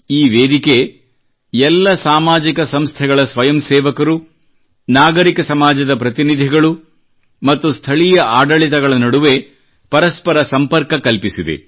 ಈ ವೇದಿಕೆ ಎಲ್ಲ ಸಾಮಾಜಿಕ ಸಂಸ್ಥೆಗಳ ಸ್ವಯಂಸೇವಕರು ನಾಗರಿಕ ಸಮಾಜದ ಪ್ರತಿನಿಧಿಗಳು ಮತ್ತು ಸ್ಥಳೀಯ ಆಡಳಿತಗಳ ನಡುವೆ ಪರಸ್ಪರ ಸಂಪರ್ಕ ಕಲ್ಪಿಸಿದೆ